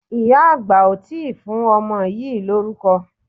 Ìyá àgbà ò tí ì fún ọmọ yìí lórúkọ.